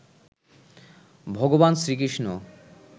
ভগবান শ্রীকৃষ্ণ